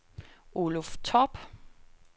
Oluf Torp